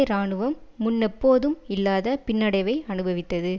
இராணுவம் முன்னெப்போதும் இல்லாத பின்னடைவை அனுபவித்தது